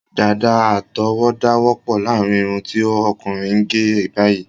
Dàda àtọwọda wọpọ láàrin irun ti ọkùnrin gé báyìí